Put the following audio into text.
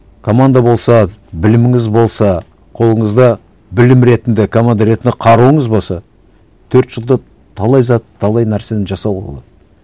команда болса біліміңіз болса қолыңызда білім ретінде команда ретінде қаруыңыз болса төрт жылда талай зат талай нәрсені жасауға болады